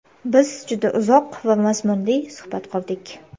Biz juda uzoq va mazmunli suhbat qurdik.